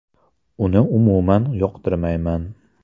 Uni umuman yoqtirmayman.